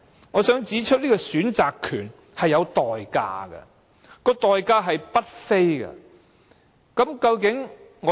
我想指出，這個選擇權是有代價的，而且是代價不菲。